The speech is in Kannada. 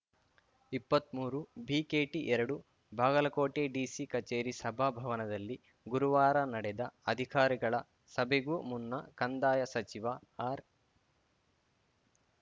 ಇಪ್ಪತ್ಮೂರುಬಿಕೆಟಿಎರಡು ಬಾಗಲಕೋಟೆ ಡಿಸಿ ಕಚೇರಿ ಸಭಾ ಭವನದಲ್ಲಿ ಗುರುವಾರ ನಡೆದ ಅಧಿಕಾರಿಗಳ ಸಭೆಗೂ ಮುನ್ನ ಕಂದಾಯ ಸಚಿವ ಆರ್‌